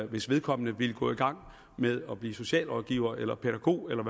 hvis vedkommende ville gå i gang med at blive socialrådgiver eller pædagog eller